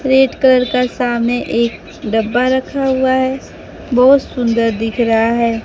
Red colour का सामने एक डब्बा रखा हुआ है बहोत सुंदर दिख रहा है।